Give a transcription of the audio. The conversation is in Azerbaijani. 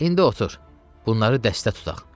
İndi otur, bunları dəstə tutaq.